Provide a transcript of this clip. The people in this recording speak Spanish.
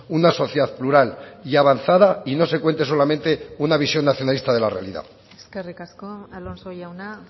una sociedad plural y avanzada y no se cuente solamente una visión nacionalista de la realidad eskerrik asko alonso jauna